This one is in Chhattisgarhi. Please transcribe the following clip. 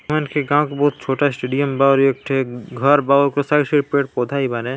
बहोत छोटा स्टेडियम बा और ये ठेक घर बा और उस साइड पेड़ -पौधा भी बा --